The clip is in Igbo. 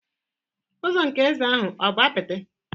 Ụzọ nke eze ahụ ọ̀ bụ apịtị?